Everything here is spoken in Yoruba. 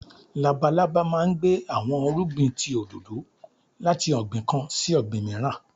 Lábàlábà máà ń gbé awọn irúgbìn tí òdòdò lati ọgbin kán sí ọgbin miiran.